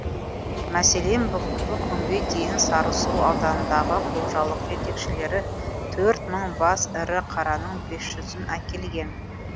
мәселен бүгінгі күнге дейін сарысу ауданындағы қожалық жетекшілері төрт мың бас ірі қараның бес жүзін әкелген